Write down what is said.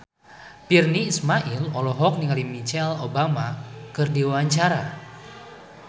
Virnie Ismail olohok ningali Michelle Obama keur diwawancara